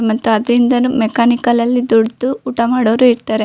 ಮತ್ತೆ ಅದರಿಂದನು ಮೆಕ್ಯಾನಿಕಲ್ ಲ್ಲಿ ದುಡಿದು ಊಟ ಮಾಡೋವ್ರು ಇರ್ತಾರೆ.